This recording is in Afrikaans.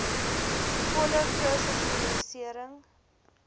volle kursus immuniserings